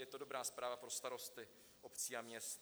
Je to dobrá zpráva pro starosty obcí a měst.